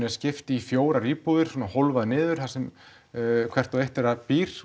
er skipt í fjórar íbúðir svona hólfað niður þar sem hver og eitt þeirra býr